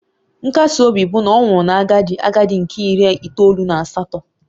Nkasi obi bụ na ọ nwụrụ na agadi agadi nke iri itoolu na asatọ